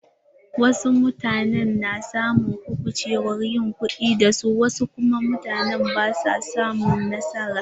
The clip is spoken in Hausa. Wasu mutane na samun kubucewar yin kuɗi da su wasu kuma basu samun nasara.